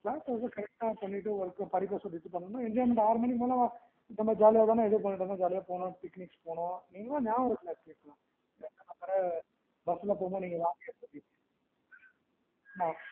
class ல வந்துட்டு correct பண்ணிட்டு work படிக்க சொல்லிட்டு போனான்னா enjoyment ஆறு மணிக்கு மேல தான நம்ம joly யா இது பன்னிட்டு ஜாலியா போனோம் picnics போனோம். இன்னும் நியாபகம் இருக்குல்ல, அப்ப வேற bus ல போகும் போது நீங்க வாந்தி எடுப்பீங்களே.